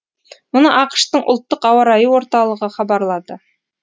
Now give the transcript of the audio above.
мұны ақш тың ұлттық ауа райы орталығы хабарлады